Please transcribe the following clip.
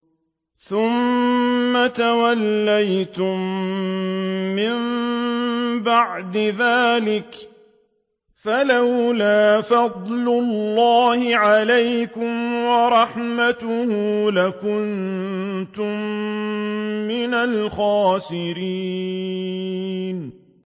ثُمَّ تَوَلَّيْتُم مِّن بَعْدِ ذَٰلِكَ ۖ فَلَوْلَا فَضْلُ اللَّهِ عَلَيْكُمْ وَرَحْمَتُهُ لَكُنتُم مِّنَ الْخَاسِرِينَ